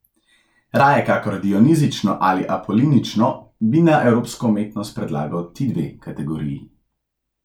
Raje kakor dionizično ali apolinično bi za evropsko umetnost predlagal ti dve kategoriji.